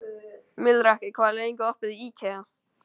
Melrakki, hvað er lengi opið í IKEA?